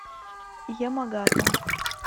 ямагата